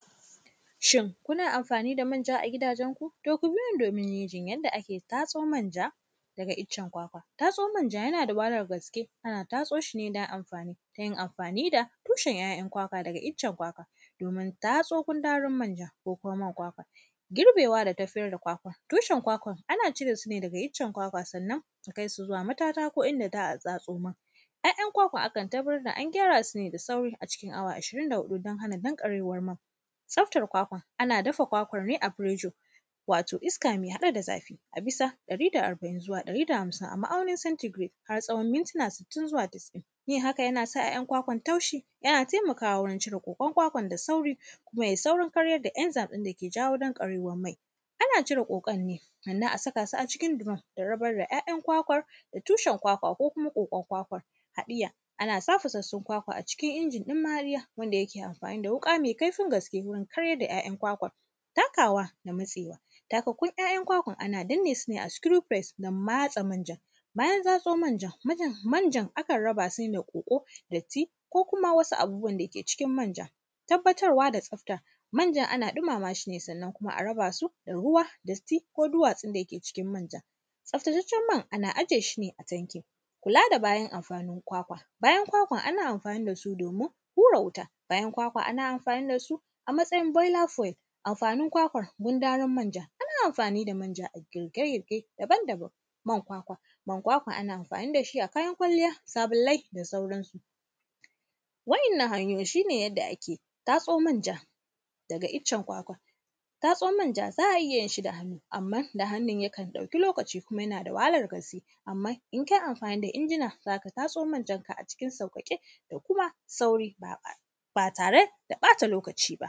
Shin, kuna amfani da manja a gidajenku? To, ku biyo ni domin jin yadda ake tatso manja daga icen kwakwa. Tatso manja, yana da wahalar gaske, ana tatso shi ne dan amfani, ta yin amfani da tushen ‘ya’yan kwakwa da ga icen kwakwa, domin tatso gundarun manja ko kuma man kwakwa. Girbewa da tafiyar da kwakwa, tushen kwakwa, ana cire su ne daga iccen kwakwa, sannan, a kais u zuwa matata ko inda za a tsatso man. “Ya”yan kwakwa, akan tarar da an gyara su ne da sauri a cikin awa ashirin da huɗu, dan hana danƙarewar man. Tsaftar kwakwa, ana dafa kwakwar ne a “prejor”, wato iska me haɗe da zafi, a bisa ɗari da arba’in zuwa ɗari da hamsin a ma’aunin sentigiret har tsawon mintina sittin zuwa tasa’in. Yin haka, yana sa ‘ya’yan kwakwan taushi, yana temakawa wurin cire ƙoƙon kwakwan da sauri. Kuma, yai saurin karyar da enzayim ɗin da ke jawo danƙarewar mai. Ana cire ƙoƙon ne, sannan a saka su a cikin duram da rabar da ‘ya’yan kwakwan da tushen kwakwa ko kuma ƙoƙon kwakwa. Haɗiya, ana sa fasassun kwakwa a cikin injin ɗin mariya wanda yake amfani da wuƙa me kaifin gaske wurin karyar da ‘ya’yan kwakwar. Tankawa da matsewa, takakkun ‘ya’yan kwan ana danne su ne a “screw press” dan matse manjan. Bayan tsatso manjan, majan; manjan, akan raba, se me ƙoƙo, datti ko kuma wasu abubuwan da yake cikin manjan. Tabbatarwa da tsafta, manjan ana ɗimama shi ne, sannan kuma a raba su da ruwa, datti ko duwatsun da yake cikin manjan. Tsaftataccen man, ana aje shi ne a tankin. Kula da bayan amafanin kwakwa, bayan kwakwan ana amfani da su domin hura wuta, bayan kwakwa ana amfani da su a matsayi “boiler frey”. Amfanin kwakwa, gundarun manja, ana mafani da manja a girke-girke daban-daban. Man kwakwa, man kwakwa ana amfani da shi a kayan kwalliya, sabillai da sauransu. Wa’innan hanyoyi, shi ne yadda ake tatso manja daga icen kwakwa. Tatso manja, za a iya yin shi da hannu, amma da hannun yakan ɗauki lokaci kuma yana da wahalar gaske. Amma, in kai amfani da injina, za ka tatso manjanka a cikin sauƙaƙe da kuma sauri, ba a; ba tare da ƃata lokaci ba.